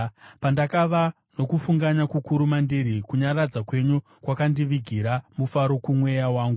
Pandakava nokufunganya kukuru mandiri, kunyaradza kwenyu kwakandivigira mufaro kumweya wangu.